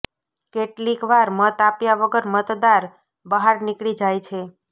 કેટલીક વાર મત આપ્યા વગર મતદાર બહાર નીકળી જાય છે